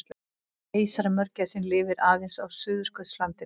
Keisaramörgæsin lifir aðeins á Suðurskautslandinu.